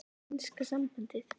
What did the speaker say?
Enska sambandið?